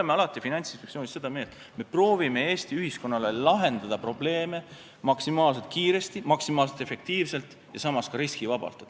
Me oleme Finantsinspektsioonis seda meelt, et me proovime Eesti ühiskonna jaoks lahendada probleeme maksimaalselt kiiresti, maksimaalselt efektiivselt ja samas ka riskivabalt.